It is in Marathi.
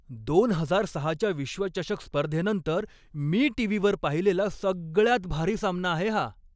दोन हजार सहाच्या विश्वचषक स्पर्धेनंतर मी टीव्हीवर पाहिलेला सगळ्यात भारी सामना आहे हा.